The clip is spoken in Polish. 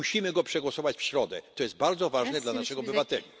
Musimy go przegłosować w środę, to jest bardzo ważne dla naszych obywateli.